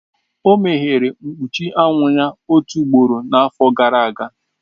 O meghere mkpuchi anwụ ya otu ugboro n'afọ gara aga.